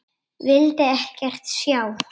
Vildi ekkert sjá.